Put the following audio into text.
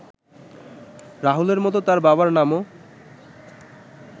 রাহুলের মতো তার বাবার নামও